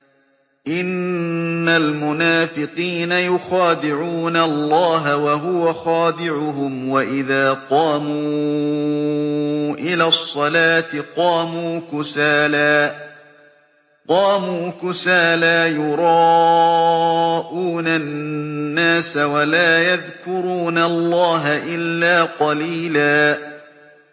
إِنَّ الْمُنَافِقِينَ يُخَادِعُونَ اللَّهَ وَهُوَ خَادِعُهُمْ وَإِذَا قَامُوا إِلَى الصَّلَاةِ قَامُوا كُسَالَىٰ يُرَاءُونَ النَّاسَ وَلَا يَذْكُرُونَ اللَّهَ إِلَّا قَلِيلًا